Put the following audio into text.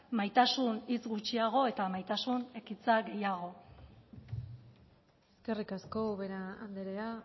maitasun hitz gutxiago eta maitasun ekintza gehiago eskerrik asko ubera andrea